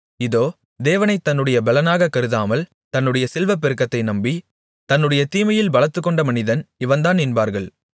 இதோ தேவனைத் தன்னுடைய பெலனாக கருதாமல் தன்னுடைய செல்வப்பெருக்கத்தை நம்பி தன்னுடைய தீமையில் பலத்துக்கொண்ட மனிதன் இவன்தான் என்பார்கள்